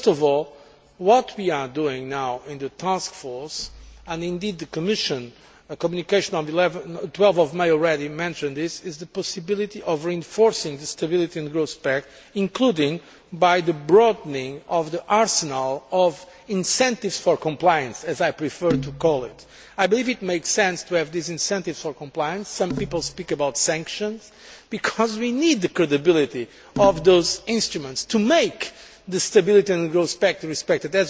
First of all, what we are doing now in the task force and indeed in the Commission a communication on 12 May already mentioned this is examining the possibility of reinforcing the Stability and Growth Pact, including by broadening the arsenal of incentives for compliance, as I prefer to call it. I believe it makes sense to have these incentives for compliance some people speak of sanctions because we need the credibility of those instruments to ensure that the Stability and Growth Pact is respected.